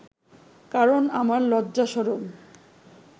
কারণ আমার লজ্জা শরম